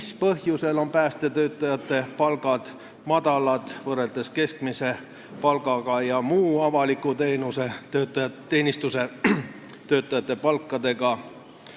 Mis põhjusel on päästetöötajate palgad madalad võrreldes keskmise palgaga ja muu avaliku teenistuse töötajate palkadega?